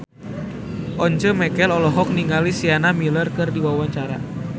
Once Mekel olohok ningali Sienna Miller keur diwawancara